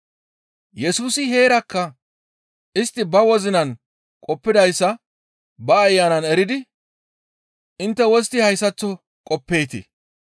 Yesusi heerakka istti ba wozinan qoppidayssa ba Ayanan eridi, «Intte wostti hayssaththo qoppeetii?